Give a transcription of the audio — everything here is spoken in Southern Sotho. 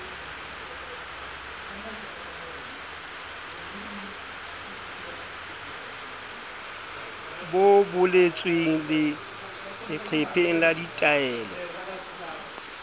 bo boletsweng leqepheng la ditaelo